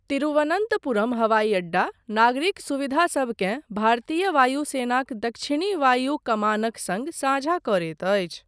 तिरुवनन्तपुरम हवाई अड्डा नागरिक सुविधासबकेँ भारतीय वायुसेनाक दक्षिणी वायु कमानक सङ्ग साझा करैत अछि।